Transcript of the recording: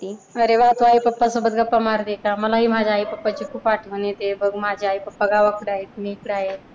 अरे माझं आई-पप्पा सोबत गप्पा मारते मलाही माझ्या आई-पप्पाची खूप आठवण येते. बघ, माझे आई-पप्पा गावाकडं आहेत. मी हिकडं आहे.